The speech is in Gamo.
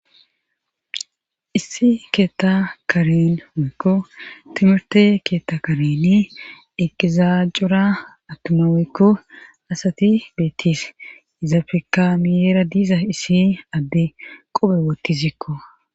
issi keetta karen weekko timirte keetta kareni eqizaajura attuma wekko asati beettis iza fekamiyeera diiza issi adde qophe wootti zikko